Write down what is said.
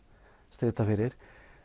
strita fyrir